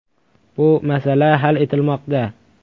“Bu masala hal etilmoqda.